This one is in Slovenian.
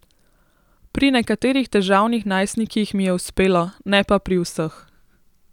Pri nekaterih težavnih najstnikih mi je uspelo, ne pa pri vseh.